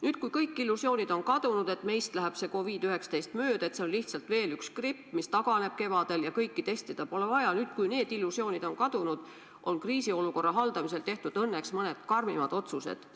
Nüüd, kui kõik illusioonid on kadunud, et meist läheb see COVID-19 mööda, et see on lihtsalt veel üks gripp, mis taganeb kevadel ja kõiki testida pole vaja, nüüd, kui need illusioonid on kadunud, on kriisiolukorra haldamisel tehtud õnneks mõned karmimad otsused.